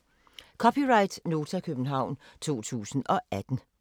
(c) Nota, København 2018